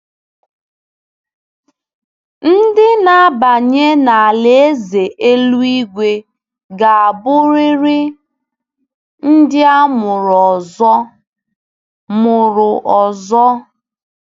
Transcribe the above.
Ndị na-abanye n’Alaeze eluigwe ga-abụrịrị “ndị a mụrụ ọzọ.” mụrụ ọzọ.”